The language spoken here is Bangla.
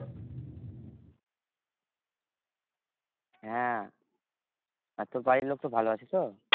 হ্যাঁ আর তোর বাড়ির লোক তো ভালো আছে তো?